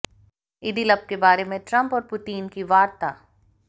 Idlib के बारे में ट्रम्प और पुतीन की वार्ता